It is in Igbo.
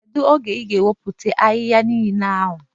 Kedu oge ị ga-ewepụcha ahịhịa niile ahụ?